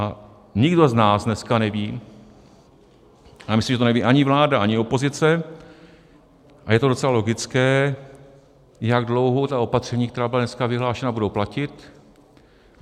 A nikdo z nás dneska neví, já myslím, že to neví ani vláda, ani opozice, a je to docela logické, jak dlouho ta opatření, která byla dneska vyhlášena, budou platit.